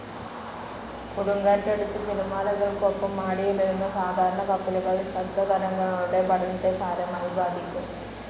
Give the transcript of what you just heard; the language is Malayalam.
കൊടുങ്കാറ്റടിച്ച് തിരമാലകൾക്കൊപ്പം ആടി ഉലയുന്ന സാധാരണ കപ്പലുകൾ ശബ്ദതരംഗങ്ങളുടെ പഠനത്തെ സാരമായി ബാധിക്കും.